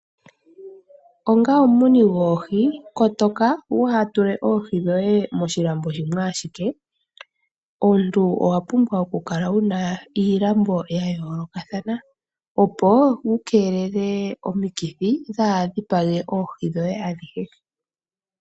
Onga omumuni goohi kotoka waatule oohi dhoye moshilambo shimwe ashike, omuntu owa pumbwa kukala wuna iilambo yaayolokathana opo wukeelele omikithi dhaa dhipage oohi dhoye adhihe.